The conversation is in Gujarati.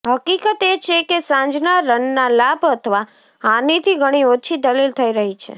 હકીકત એ છે કે સાંજના રનના લાભ અથવા હાનિથી ઘણી ઓછી દલીલ થઈ રહી છે